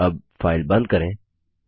अब फाइल बंद करें